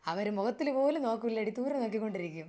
അവര് മുഖത്തിൽ പോലും നോക്കൂലടി ദൂരെ നോക്കിക്കൊണ്ടിരിക്കും.